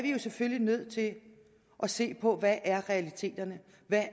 selvfølgelig nødt til at se på hvad realiteterne